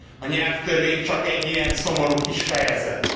A nyelvtörvény csak ilyen szomorú kis fejezet.